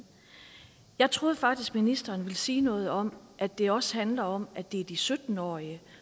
jeg troede faktisk ministeren ville sige noget om at det også handler om at det er de sytten årige